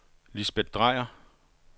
Lisbet Dreyer